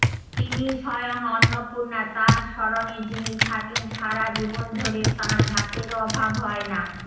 তিনিই স্বয়ং অন্নপূর্ণা তাঁর শরণে যিনি থাকেন সারা জীবন ধরে তাঁর ভাতের অবাব হয়না